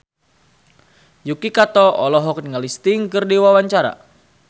Yuki Kato olohok ningali Sting keur diwawancara